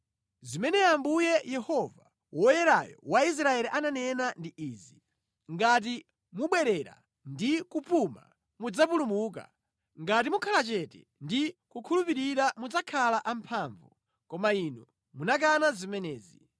Zimene Ambuye Yehova, Woyerayo wa Israeli ananena ndi izi: “Ngati mubwerera ndi kupuma mudzapulumuka, ngati mukhala chete ndi kukhulupirira mudzakhala amphamvu, koma inu munakana zimenezi.